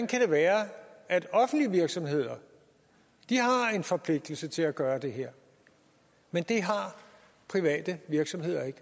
kan være at offentlige virksomheder har en forpligtelse til at gøre det her mens de private virksomheder ikke